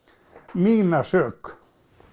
mína sök